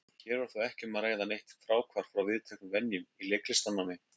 Hér var þó ekki um að ræða neitt fráhvarf frá viðteknum venjum í leiklistarnámi.